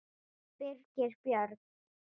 Birgir Björn